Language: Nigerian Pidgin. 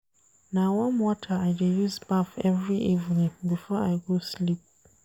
Na warm water I dey use baff every evening before I go sleep.